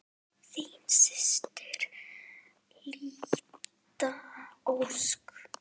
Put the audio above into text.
Þín systir, Linda Ósk.